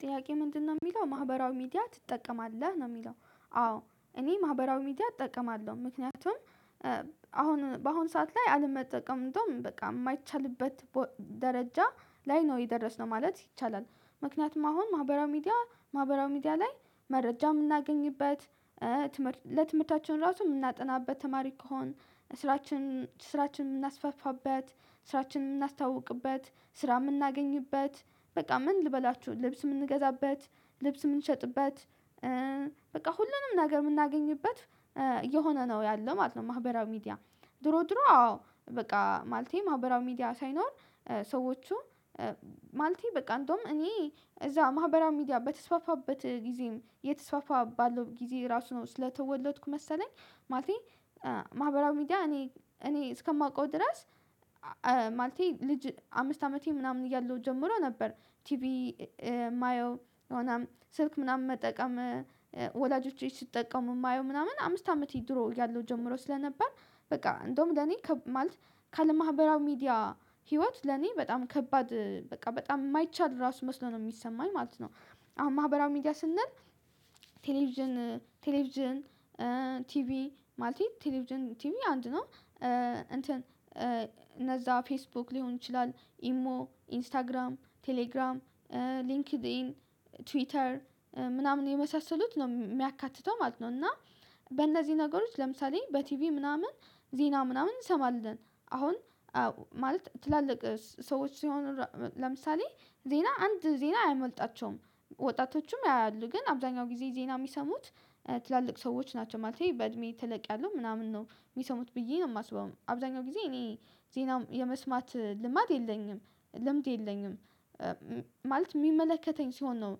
ጥያቄው ምንድነው የሚለው ማህበራዊ ሚዲያ ትጠቀማለህ ነው የሚለው? አዎ እኔ ማህበራዊ ሚዲያ እጠቀማለሁ ምክንያቱም አሁን በአሁን ሰዓት ላይ አልመጠቀም እንደውም በቃ የማይቻልበት ደረጃ ላይ ነው የደረስነው ማለት ይቻላል። ምክንያቱም አሁን ማህበራዊ ሚዲያ ማህበራዊ ሚዲያ ላይ መረጃ የምናገኝበት ትምህርት ለትምህርታችን ራሱ የምናጠናበት ተማሪ ከሆን ስራችን ስራችን የምናስፋፋበት ስራችን የምናስተዋውቅበት ስራ የምናገኝበት በቃ ምን ልበላችሁ ልብስ የምንገዛበት ልብስ የምንሸጥበት በቃ ሁሉንም ነገር የምናገኝበት እየሆነ ነው ያለው ማለት ነው። ማህበራዊ ሚዲያ ድሮ ድሮ አዎ በቃ ማለቴ ማህበራዊ ሚዲያ ሳይኖር ሰዎቹ ማለቴ በቃ እንደውም እኔ እዛ ማህበራዊ ሚዲያ በተስፋፋበት ጊዜም የተስፋፋ ባለው ጊዜ ራሱ ነው ስለተወለድኩ መሰለኝ ማለቴ ማህበራዊ ሚዲያ እኔ እኔ እስከማውቀው ድረስ ማለቴ ልጅ አምስት አመቴ ምናምን እያለሁ ጀምሮ ነበር። ቲቪ ማየው የሆነ ስልክ ምናምን መጠቀም ወላጆቼ ሲጠቀሙ የማየው ምናምን አምስት አመቴ ድሮ እያለው ጀምሮ ስለነበር በቃ እንደውም ለኔ ማለት ካለ ማህበራዊ ሚዲያ ህይወት ለኔ በጣም ከባድ በቃ በጣም የማይቻል ራሱ መስሎ ነው የሚሰማኝ ማለት ነው። አሁን ማህበራዊ ሚዲያ ስንል ቴሌቪዥን ቴሌቪዥን ቲቪ ማለቴ ቴሌቪዥን ቲቪ አንድ ነው እንትን እነዛ ፌስቡክ ሊሆን ይችላል ኢሞ ኢንስታግራም ቴሌግራም ሊንክድኢን ትዊተር ምናምን የመሳሰሉት ነው የሚያካትተው ማለት ነው። እና በእነዚህ ነገሮች ለምሳሌ በቲቪ ምናምን ዜና ምናምን እንሰማለን አሁን ማለት ትላልቅ ሰዎች ሲሆኑ ለምሳሌ ዜና አንድ ዜና አይመልጣቸውም ወጣቶቹም ያያሉ ግን አብዛኛው ጊዜ ዜና የሚሰሙት ትላልቅ ሰዎች ናቸው ማለቴ በእድሜ ተለቅ ያሉ ምናምን ነው የሚሰሙት ብዬ ነው የማስበው አብዛኛው ጊዜ እኔ ዜና የመስማት ልማድ የለኝም ልምድ የለኝም። ማለት የሚመለከተኝ ሲሆን ነው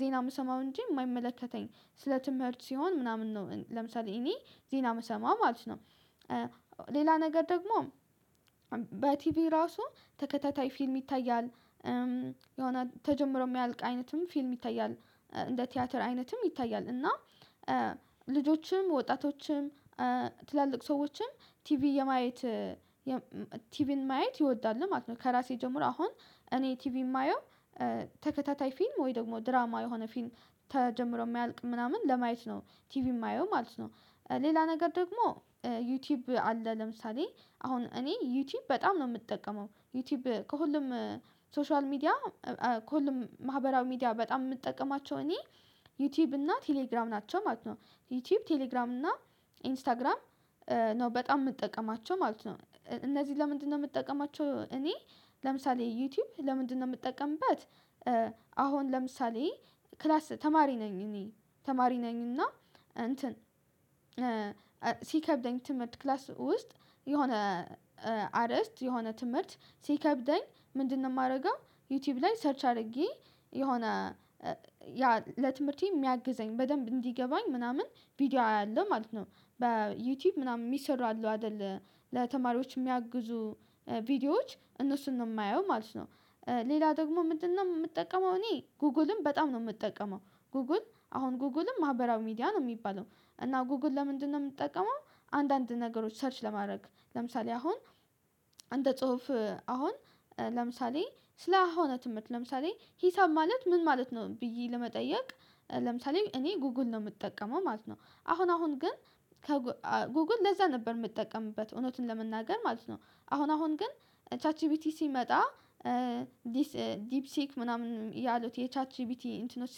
ዜና የምሰማው እንጂ የማይመለከተኝ ስለ ትምህርት ሲሆን ምናምን ነው ለምሳሌ እኔ ዜና የምሰማው ማለት ነው። ሌላ ነገር ደግሞ በቲቪ ራሱ ተከታታይ ፊልም ይታያል የሆነ ተጀምሮ የሚያልቅ አይነትም ፊልም ይታያል እንደ ቲያትር አይነትም ይታያል እና ልጆችም ወጣቶችም ትላልቅ ሰዎችም ቲቪ የማየት ቲቪን ማየት ይወዳሉ ማለት ነው። ከራሴ ጀምሮ አሁን እኔ ቲቪ የማየው ተከታታይ ፊልም ወይ ደግሞ ድራማ የሆነ ፊልም ተጀምሮ የማያልቅ ምናምን ለማየት ነው ቲቪ የማየው ማለት ነው። ሌላ ነገር ደግሞ ዩቲዩብ አለ ለምሳሌ አሁን እኔ ዩቲዩብ በጣም ነው የምጠቀመው ዩቲዩብ ከሁሉም ሶሻል ሚዲያ ከሁሉም ማህበራዊ ሚዲያ በጣም የምጠቀማቸው እኔ ዩቲዩብ እና ቴሌግራም ናቸው ማለት ነው ዩቲዩብ ቴሌግራም እና ኢንስታግራም ነው በጣም የምጠቀማቸው ማለት ነው። እነዚህ ለምንድነው የምጠቀማቸው እኔ ለምሳሌ ዩቲዩብ ለምንድነው የምጠቀምበት? አሁን ለምሳሌ ክላስ ተማሪ ነኝ እኔ ተማሪ ነኝ እና እንትን ሲከብደኝ ትምህርት ክላስ ውስጥ የሆነ አርእስት የሆነ ትምህርት ሲከብደኝ ምንድነው የማደርገው ዩቲዩብ ላይ ሰርች አድርጌ የሆነ ያ ለትምህርቴ የሚያግዘኝ በደንብ እንዲገባኝ ምናምን ቪዲዮ አያለሁ ማለት ነው። በዩቲዩብ ምናምን የሚሰሩ አሉ አይደል ለተማሪዎች የሚያግዙ ቪዲዮዎች እነሱን ነው የማየው ማለት ነው። ሌላ ደግሞ ምንድነው የምጠቀመው እኔ ጎግልም በጣም ነው የምጠቀመው። ጎግል አሁን ጎግልም ማህበራዊ ሚዲያ ነው የሚባለው እና ጎግል ለምንድነው የምጠቀመው? አንዳንድ ነገሮች ሰርች ለማድረግ ለምሳሌ አሁን አንደ ጽሁፍ አሁን ለምሳሌ ስለሆነ ትምህርት ለምሳሌ ሂሳብ ማለት ምን ማለት ነው ብዬ ለመጠየቅ ለምሳሌ እኔ ጉግል ነው የምጠቀመው ማለት ነው። አሁን አሁን ግን ጉግል ለዛ ነበር የምጠቀምበት እውነትን ለመናገር ማለት ነው። አሁን አሁን ግን ቻት ጂቢቲ ሲመጣ ዲፕ ሲክ ምናምን ያሉት የቻት ጂቢቲ እንትኖች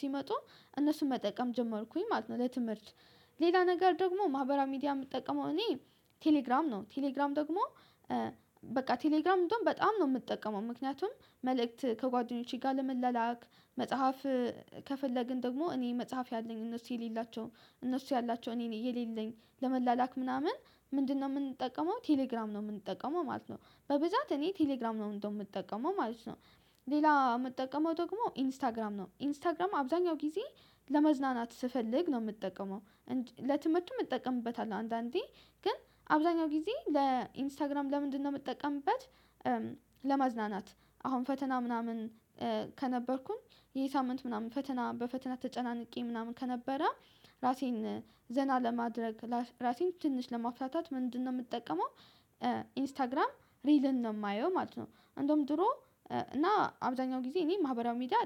ሲመጡ እነሱን መጠቀም ጀመርኩኝ ማለት ነው። ለትምህርት ሌላ ነገር ደግሞ ማህበራዊ ሚዲያ የምጠቀመው እኔ ቴሌግራም ነው ቴሌግራም ደግሞ በቃ ቴሌግራም እንደውም በጣም ነው የምጠቀመው ምክንያቱም መልእክት ከጓደኞቼ ጋር ለመላላክ መጽሐፍ ከፈለግን ደግሞ እኔ መጽሐፍ ያለኝ እነሱ የሌላቸውም እነሱ ያላቸው እኔ የሌለኝ ለመላላክ ምናምን ምንድነው የምንጠቀመው ቴሌግራም ነው የምንጠቀመው ማለት ነው። በብዛት እኔ ቴሌግራም ነው እንደውም የምጠቀመው ማለት ነው። ሌላ የምጠቀመው ደግሞ ኢንስታግራም ነው ኢንስታግራም አብዛኛው ጊዜ ለመዝናናት ስፈልግ ነው የምጠቀመው። ለትምህርቱም እጠቀምበታለሁ አንዳንዴ ግን አብዛኛው ጊዜ ለኢንስታግራም ለምንድነው የምጠቀምበት? ለመዝናናት አሁን ፈተና ምናምን ከነበርኩኝ ይሄ ሳምንት ምናምን ፈተና በፈተና ተጨናንቄ ምናምን ከነበረ ራሴን ዘና ለማድረግ ራሴን ትንሽ ለማፍታታት ምንድነው የምጠቀመው ኢንስታግራም ሪልን ነው የማየው ማለት ነው። እንደውም ድሮ እና አብዛኛው ጊዜ እኔ ማህበራዊ ሚዲያ